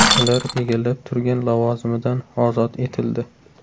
Ular egallab turgan lavozimidan ozod etildi.